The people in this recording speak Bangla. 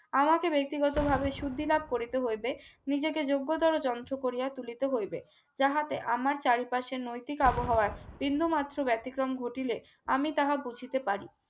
আমাকে ব্যক্তিগতভাবে সুধি লাভ করিতে হইবে নিজেকে যোগ্যতর যন্ত্র করিয়া তুলতে হইবে যাতে আমার চারিপাশে নৈতিক আবহাওয়ার বিন্দুমাত্র ব্যতিক্রম ঘটিলে আমি তাহা বুঝিতে পারি